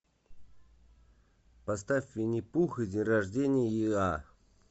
поставь винни пух и день рождения иа